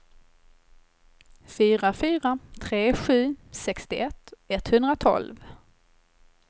fyra fyra tre sju sextioett etthundratolv